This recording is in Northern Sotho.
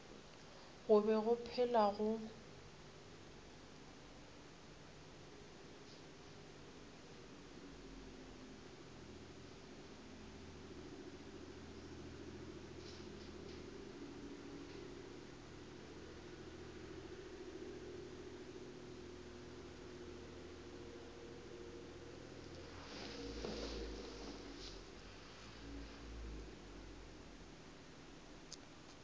go be go phela go